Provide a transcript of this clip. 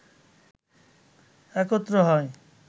একত্র হয়